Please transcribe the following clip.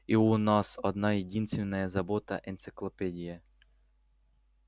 и у нас одна единственная забота энциклопедия